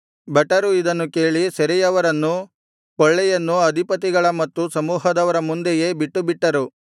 ಭಟರು ಇದನ್ನು ಕೇಳಿ ಸೆರೆಯವರನ್ನೂ ಕೊಳ್ಳೆಯನ್ನು ಅಧಿಪತಿಗಳ ಮತ್ತು ಸಮೂಹದವರ ಮುಂದೆಯೇ ಬಿಟ್ಟುಬಿಟ್ಚರು